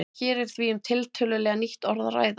Hér er því um tiltölulega nýtt orð að ræða.